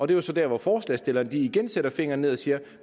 det er så der hvor forslagsstillerne igen sætter fingeren ned og siger